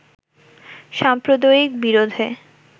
সাম্প্রদায়িক বিরোধে